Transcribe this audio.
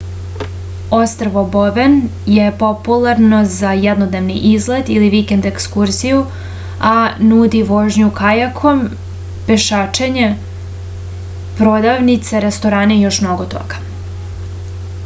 ostrvo boven je popularno za jednodnevni izlet ili vikend ekskurziju a nudi vožnju kajakom pešačenje prodavnice restorane i još mnogo toga